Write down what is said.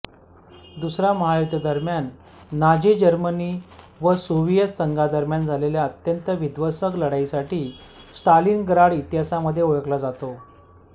दुसऱ्या महायुद्धादरम्यान Nazi Germany व सोव्हियेत संघादरम्यान झालेल्या अत्यंत विध्वंसक लढाईसाठी स्टालिनग्राड इतिहासामध्ये ओळखले जाते